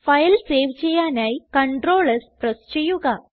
file save ചെയ്യാനായി CTRL S press ചെയ്യുക